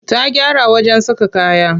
Ta gyara wajen saka kaya.